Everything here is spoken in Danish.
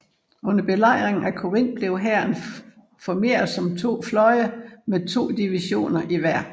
Under Belejringen af Corinth blev hæren formeret som to fløje med to divisioner i hver